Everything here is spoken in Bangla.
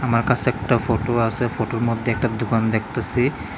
আমার কাসে একটা ফটো আসে ফটোর মধ্যে একটা দুকান দেখতাসি।